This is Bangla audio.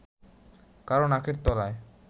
কারও নাকের তলায়